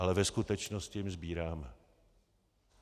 Ale ve skutečnosti jim sbíráme.